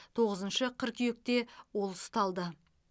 тоғызыншы қыркүйекте ол ұсталды